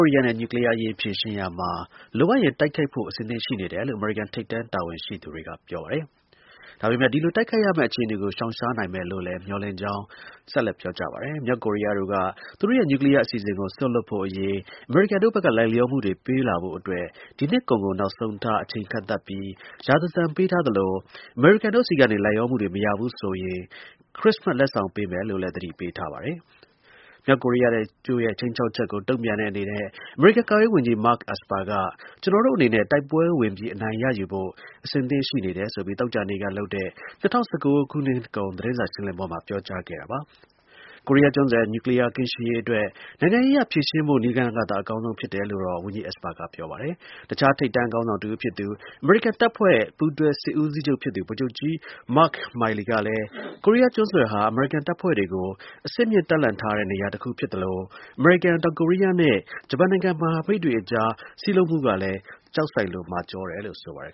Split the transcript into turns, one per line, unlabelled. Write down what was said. ုရီးယားနဲ့ နျူကလီးယားအရေး ဖြေရှင်းရာမှာ လိုအပ်ရင် တိုက်ခိုက်ဖို့ အဆင်သင့်ရှိနေတယ်လို့ အမေရိကန် ထိပ်တန်း တာဝန်ရှိ သူတွေက ပြောပါတယ်။ ဒါပေမဲ့ ဒီလို တိုက်ခိုက်ရမယ့် အခြေအနေကို ရှောင်ရှားနိုင်မယ်လို့ မျှော်လင့်ကြောင်းလည်း ပြောပါတယ်။ မြောက်ကိုရီးယားတို့က သူတို့ရဲ့ နျူကလီးယား အစီအစဉ်ကို စွန်လွှတ်ဖို့အရေး အမေရိကန်တို့ဘက်က လိုက်လျောမှုတွေ ပေးဖို့အတွက် ဒီနှစ် ကုန်ကို နောက်ဆုံးထား အချိန်ကန့်သတ်ပြီး ရာဇသံပေးထားသလို အမေရိကန်တို့ဆီကနေ လိုက်လျောမှုတွေ မရဘူးဆိုရင် ခရစ်စမတ် လက်ဆောင်ပေးမယ်လို့လည်း မြောက်ကိုရီးယားက သတိပေးထားပါတယ်။ မြောက်ကိုရီးယားတို့ရဲ့ ခြိမ်းခြောက်မှုကို တုံ့ပြန်တဲ့အနေနဲ့ အမေရိကန် ကာကွယ်ရေးဝန်ကြီး Mark Esper က ကျွန်တော်တို့အနေနဲ့ တိုက်ပွဲဝင်ပြီး အနိုင်ရ ယူဖို့ အဆင်သင့် ရှိတယ်ဆိုပြီး သောကြာနေ့က လုပ်တဲ့ ၂၀၁၉ နှစ်ကုန် သတင်းစာ ရှင်းလင်းပွဲမှာ ပြောကြားခဲ့တာပါ။ ကိုရီးယားကျွန်းဆွယ် နျူကလီးယား ကင်းရှင်းရေးအတွက် နိုင်ငံရေးအရ ဖြေရှင်းဖို့ နည်းလမ်းကသာ အကောင်းဆုံး ဖြစ်တယ်လို့တော့ ဝန်ကြီး Esper က ပြောပါတယ်။ တစ်ခြား ထိပ်တန်း ခေါင်းဆောင်တစ်ဦး ဖြစ်သူ အမေရိကန်တပ်ဖွဲ့တွေရဲ့ ပူးတွဲ စစ်ဦးစီးချုပ်ဖြစ်သူ ဗိုလ်ချုပ် ကြီး Mar Miley ကလည်း ကိုရီးယားကျွန်းဆွယ်ဟာ အမေရိကန် တပ်ဖွဲ့တွေကို အဆင့်မြင့် တပ်လှန့်ထားတဲ့ နေရာတစ်ခုဖြစ်သလို အမေရိကန်၊ တောင်ကိုရီးယားနဲ့ ဂျပန်နိုင်ငံ မဟာမိတ်တွေ အကြားမှာလည်း စည်းလုံးမှုက ကျောက်တိုင်လို မာကျောတယ်လို့ ဆိုပါတယ်